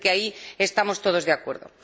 Parece que ahí estamos todos de acuerdo.